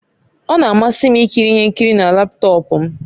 Ọ na-amasị m ikiri ihe nkiri na laptọọpụ m